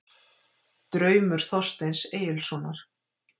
Draumur Þorsteins Egilssonar